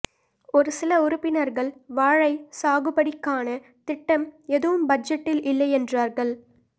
ஒரு சில உறுப்பினர்கள் வாழை சாகுபடிக்கான திட்டம் எதுவும் பட்ஜெட்டில் இல்லை என்றார்கள்